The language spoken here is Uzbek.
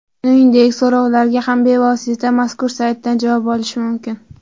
Shuningdek, so‘rovlarga ham bevosita mazkur saytdan javob olish mumkin.